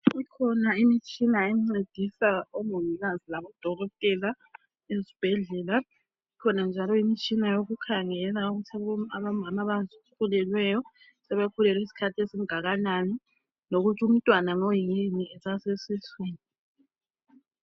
Kukhona imitshina engcedisa omongikazi labodokotela ezibhedlela ikhona njalo ikhona njalo imitshina yokukhangela ukuthi omama abazithweleyo sebekhulelwe isikhathi esingakanani lokuthi umntwana ngoyini esasesiswini